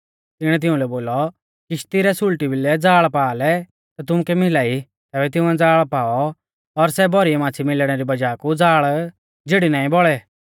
तिणीऐ तिउंलै बोलौ किश्ती रै सुल़टी भिलै ज़ाल़ पा लै ता तुमुकै मिला ई तैबै तिंउऐ ज़ाल़ पाऔ और सै भौरी माच़्छ़ी मिलणै री वज़ाह कु ज़ाल़ झिड़ी नाईं बौल़ै